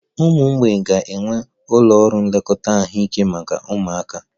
Ụmụ mgbei ga-enwe ụlọ ọrụ nlekọta ahụike maka ụmụaka